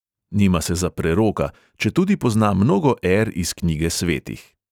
Nima se za preroka, četudi pozna mnogo er iz knjige svetih.